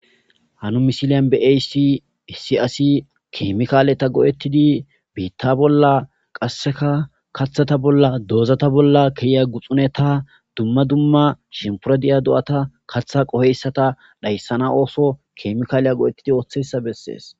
Hanu misiliyan beaysi si asi keemikaaleta go7ettidi biitta bolla qasseka kaththata bolla doozata bolla keya guxune ta dumma dumma shimporadiya do7ata katha qoheyssata dhayssana ooso keemikaaleya go7ettidi ooththeyssa bessees.